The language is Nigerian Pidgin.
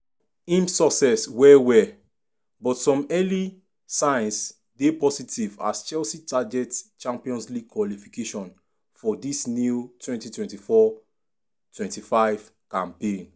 im success well-well but some early signs dey positive as chelsea target champions league qualification for dis new 2024-25 campaign.